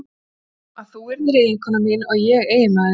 Með öðrum orðum: að þú yrðir eiginkona mín og ég eiginmaður þinn.